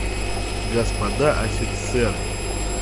господа офицеры